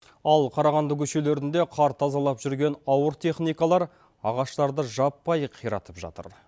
ал қарағанды көшелерінде қар тазалап жүрген ауыр техникалар ағаштарды жаппай қиратып жатыр